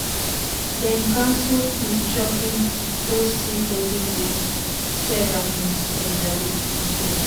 dem cancel um shopping go see olden days ceramics exhibit instead.